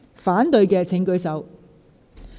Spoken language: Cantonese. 反對的請舉手。